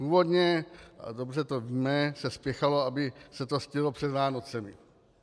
Původně, a dobře to víme, se spěchalo, aby se to stihlo před Vánocemi.